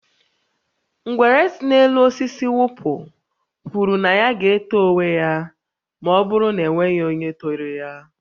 Ngwere si n'elu osisi wụpụ kwụrụ na ya ga-eto onwe ya ma ọ bụrụ na e nweghị onye toro ya